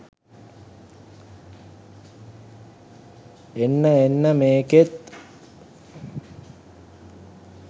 එන්න එන්න මේකෙත්